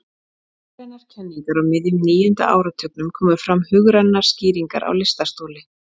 hugrænar kenningar á miðjum níunda áratugnum komu fram hugrænar skýringar á lystarstoli